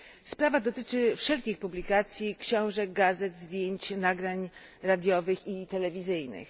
Sprawa dotyczy wszelkich publikacji książek, gazet, zdjęć, nagrań radiowych i telewizyjnych.